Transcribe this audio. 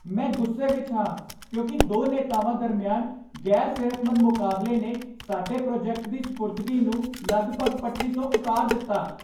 ਮੈਂ ਗੁੱਸੇ ਵਿੱਚ ਹਾਂ ਕਿਉਂਕਿ ਦੋ ਨੇਤਾਵਾਂ ਦਰਮਿਆਨ ਗ਼ੈਰ ਸਿਹਤਮੰਦ ਮੁਕਾਬਲੇ ਨੇ ਸਾਡੇ ਪ੍ਰੋਜੈਕਟ ਦੀ ਸਪੁਰਦਗੀ ਨੂੰ ਲਗਭਗ ਪਟੜੀ ਤੋਂ ਉਤਾਰ ਦਿੱਤਾ